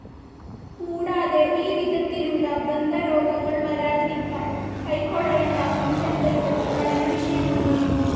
കൂടാതെ ഈ വിധത്തിലുള്ള ദന്തരോഗങ്ങൾ വരാതിരിക്കാൻ കൈക്കൊള്ളേണ്ട മുൻകരുതലുകളും പഠനവിഷയമാണ്.